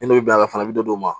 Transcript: N'i y'o bila a kɔnɔ a bɛ don o ma